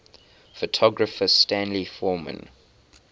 photographer stanley forman